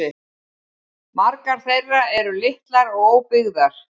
Margar þeirra eru litlar og óbyggðar